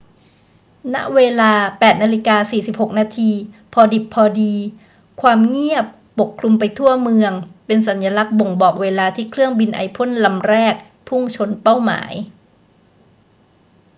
ณ เวลา 8.46 น พอดิบพอดี ความเงียบปกคลุมไปทั่วเมือง เป็นสัญลักษณ์บ่งบอกเวลาที่เครื่องบินไอพ่นลำแรกพุ่งเข้าชนเป้าหมาย